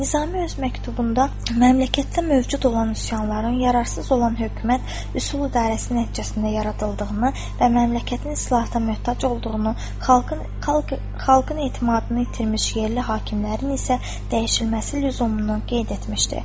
Nizami öz məktubunda məmləkətdə mövcud olan üsyanların yararsız olan hökumət üsul idarəsi nəticəsində yaradıldığını və məmləkətin islahata möhtac olduğunu, xalqın etimadını itirmiş yerli hakimlərin isə dəyişilməsi lüzumunu qeyd etmişdi.